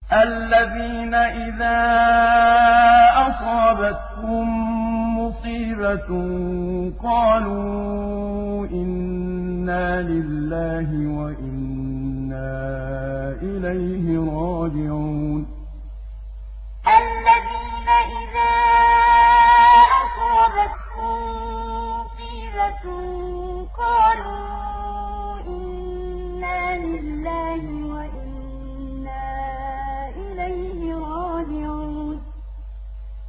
الَّذِينَ إِذَا أَصَابَتْهُم مُّصِيبَةٌ قَالُوا إِنَّا لِلَّهِ وَإِنَّا إِلَيْهِ رَاجِعُونَ الَّذِينَ إِذَا أَصَابَتْهُم مُّصِيبَةٌ قَالُوا إِنَّا لِلَّهِ وَإِنَّا إِلَيْهِ رَاجِعُونَ